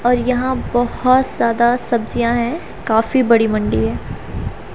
और यहां बहोत ज्यादा सब्जियां है काफी बड़ी मंडी है।